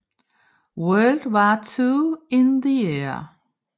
World War II in the Air